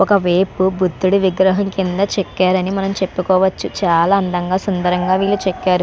ఒక వేపు బుద్ధుని విగ్రహం కింద చెక్కరని మనం చెప్పుకోవచ్చు. చాలా అందంగా సుందరంగా వీలు చేకారు.